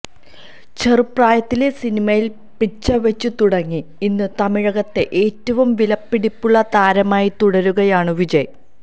ചെറുപ്രായത്തിലെ സിനിമയില് പിച്ചവച്ചു തുടങ്ങി ഇന്ന് തമിഴകത്തെ ഏറ്റവും വിലപിടിപ്പുള്ള താരമായി തുടരുകയാണ് വിജയ്